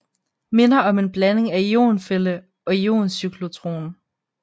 Minder om en blanding af ionfælde og ioncyklotron